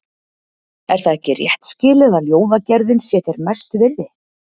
Er það ekki rétt skilið, að ljóðagerðin sé þér mest virði?